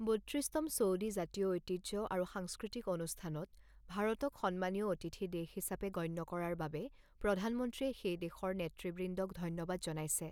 বত্ৰিছতম Saudi জাতীয় ঐতিহ্য আৰু সাংস্কৃতিক অনুষ্ঠানত ভাৰতক সন্মানীয় অতিথি দেশ হিচাপে গণ্য কৰাৰ বাবে প্ৰধানমন্ত্ৰীয়ে সেইদেশৰ নেতৃবৃন্দক ধন্যবাদ জনাইছে।